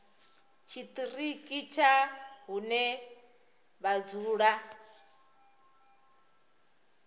tshiṱiriki tsha hune vha dzula